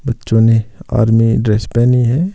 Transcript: बच्चों ने army dress पहनी है।